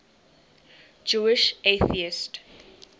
jewish atheists